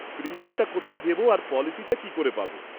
প্রিমিয়ামটা কোথায় দেব আর পলিসিটা কি করে পাব?